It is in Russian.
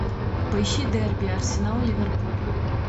поищи дерби арсенал ливерпуль